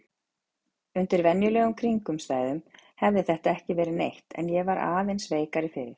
Undir venjulegum kringum stæðum hefði þetta ekki verið neitt en ég er aðeins veikari fyrir.